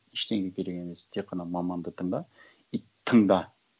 ештеңе керек емес тек қана маманды тыңда и тыңда